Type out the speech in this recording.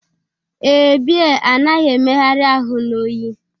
Ee, bea anaghi emeghari ahu na oyi.